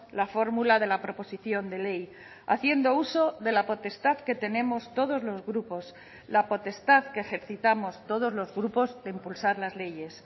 la fórmula de la proposición de ley haciendo uso de la potestad que tenemos todos los grupos la potestad que ejercitamos todos los grupos de impulsar las leyes